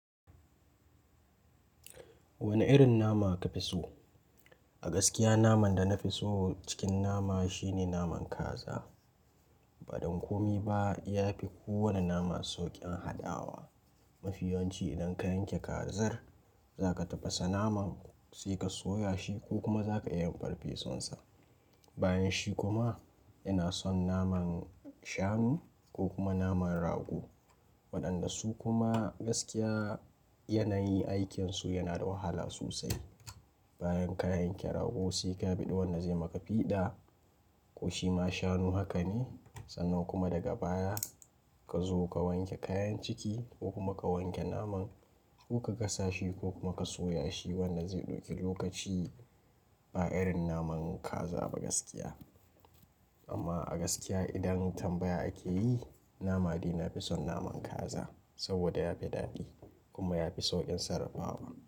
Wane irin nama ka fi so? A gaskiya naman da na fi so cikin nama shine naman kaza. Ba don komi ba, ya fi kowane nama sauƙin haɗawa. Mafi yanci idan ka yanke kazar za ka tafasa naman sai ka soya shi ko kuma za ka iya farfesonsa. Bayan shi kuma ina son naman shanu ko kuma naman rago. Waɗanda su kuma gaskiya yanayi aikin su yana da wahala sosai. Bayan ka yanke rago sai ka biɗe wanda zai maka fiɗa ko shi ma shanu haka ne. Sannan kuma daga baya ka zo ka wanke kayan ciki ko kuma ka wanke naman ko ka gasa shi ko kuma ka soya shi wanda zai ɗauki lokaci ba irin naman kaza ba gaskiya. Amma a gaskiya idan tambaya ake yi, nama dai na fi son naman kaza saboda ya fi daɗi kuma ya fi sauƙin sarrafawa.